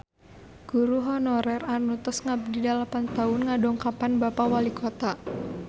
Guru honorer anu tos ngabdi dalapan tahun ngadongkapan Bapak Walikota